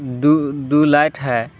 दु दु लाइट है।